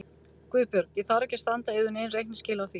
GUÐBJÖRG: Ég þarf ekki að standa yður nein reikningsskil á því.